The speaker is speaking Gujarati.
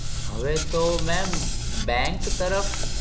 હવે તો ma'am bank તરફ